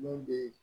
Min bɛ